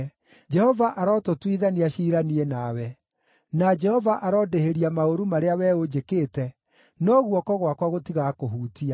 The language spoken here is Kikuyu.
Jehova arotũtuithania ciira niĩ nawe. Na Jehova arondĩhĩria maũru marĩa wee ũnjĩkĩte, no guoko gwakwa gũtigakũhutia.